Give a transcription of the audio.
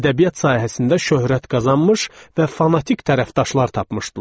Ədəbiyyat sahəsində şöhrət qazanmış və fanatik tərəfdaşlar tapmışdılar.